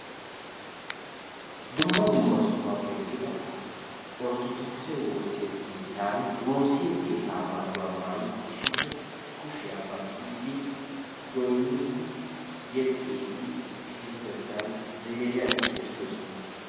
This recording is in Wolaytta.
Dumma dumma sohuwappe yiida asay Orttodoogise woosa keettaani woossiyo keettaa maayuwa maayidi issippe kushiya baqqiiddi, goynniiddi yexxiiddi issippetettan ziiriyan eqqidosona.